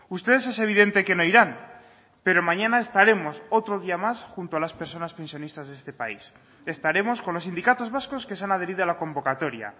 ustedes es evidente que no irán pero mañana estaremos otro día más junto a las personas pensionistas de este país estaremos con los sindicatos vascos que se han adherido a la convocatoria